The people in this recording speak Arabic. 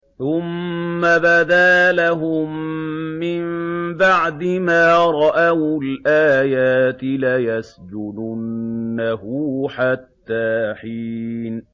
ثُمَّ بَدَا لَهُم مِّن بَعْدِ مَا رَأَوُا الْآيَاتِ لَيَسْجُنُنَّهُ حَتَّىٰ حِينٍ